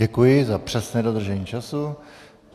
Děkuji za přesné dodržení času.